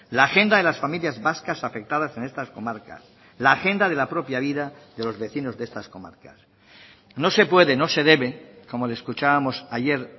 la agenda de las familias vascas afectadas en estas comarcas la agenda de la propia vida de los vecinos de estas comarcas no se puede no se debe como le escuchábamos ayer